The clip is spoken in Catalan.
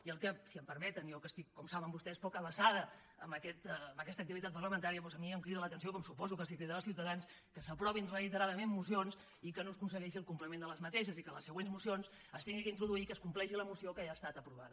i el que si m’ho permeten jo que estic com saben vostès poc avesada a aquesta activitat parlamentària doncs a mi em crida l’atenció com suposo que els deu cridar als ciutadans que s’aprovin reiteradament mocions i que no se aconsegueixi el compliment d’aquestes i que a les següents mocions s’hagi d’introduir que es compleixi la moció que ja ha estat aprovada